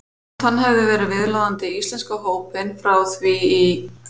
Þótt hann hefði verið viðloðandi íslenska hópinn frá því í